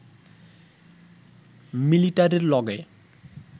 মিলিটারির লগে